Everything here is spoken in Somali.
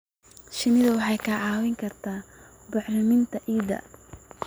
Shinnidu waxay kaa caawin kartaa bacriminta ciidda.